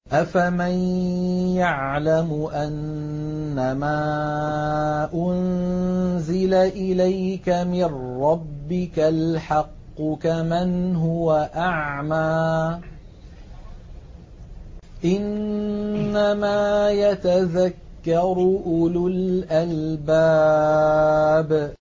۞ أَفَمَن يَعْلَمُ أَنَّمَا أُنزِلَ إِلَيْكَ مِن رَّبِّكَ الْحَقُّ كَمَنْ هُوَ أَعْمَىٰ ۚ إِنَّمَا يَتَذَكَّرُ أُولُو الْأَلْبَابِ